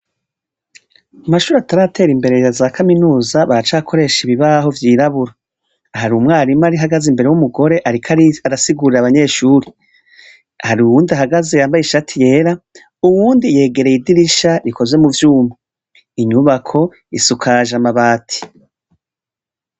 Mu mashure ataratera imbere ya za kaminuza baracakoresha ibibaho vyirabura. Hari umwarimu ahagaze imbere w'umugore ariko arasigurira abanyeshuri. Hari uwundi ahagaze yambaye ishati yera, uwundi yegereye idirisha rikozwe mu vyuma. Inyubako isukaje amabati.